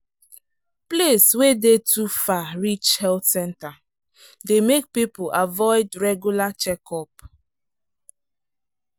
place wey dey too far reach health center dey make people avoid regular checkup.